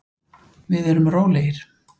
Við erum rólegir.